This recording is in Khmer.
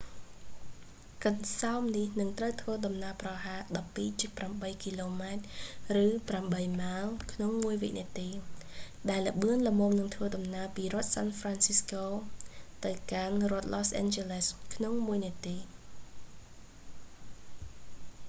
កន្សោមនេះនឹងត្រូវធ្វើដំណើរប្រហែល 12.8 គម ឬ8 ម៉ាយក្នុងមួយវិនាទី ដែលលឿនល្មមនឹងធ្វើដំណើរពីរដ្ឋសាន់ហ្វរាន់ស៊ីស្កូ san francisco ទៅកាន់ រដ្ឋឡូសអាន់ជ័រលេស los angeles ក្នុងមួយនាទី